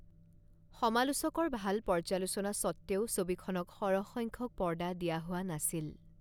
সমালোচকৰ ভাল পৰ্যালোচনা স্বত্বেও, ছবিখনক সৰহ সংখ্যক পৰ্দা দিয়া হোৱা নাছিল।